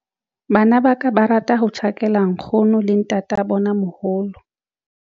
Bana ba ka ba rata ho tjhakela nkgono le ntatabonamoholo.